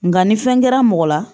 Nga ni fɛn kɛra mɔgɔ la